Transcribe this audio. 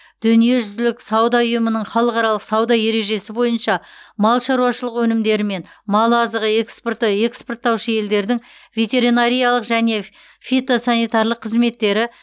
дүниежүзілік сауда ұйымының халықаралық сауда ережесі бойынша мал шаруашылығы өнімдері мен мал азығы экспорты экспорттаушы елдердің ветеринарлық және фитосанитарлық қызметтері